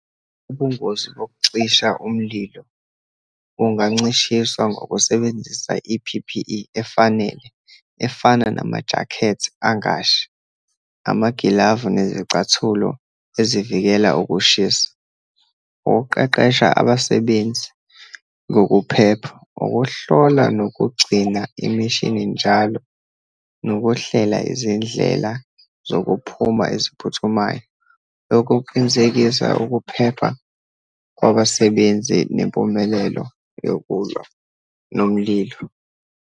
Ubungozi bokucisha umlilo bungancishiswa ngokusebenzisa i-P_P_E efanele, efana namajakhethi angashi, amagilavu nezicathulo ezivikela ukushisa, ukuqeqesha abasebenzi ngokuphepha, ukuhlola nokugcina imishini njalo, nokuhlela izindlela zokuphuma eziphuthumayo. Lokhu kuqinisekisa ukuphepha kwabasebenzi nempumelelo yokulwa nomlilo.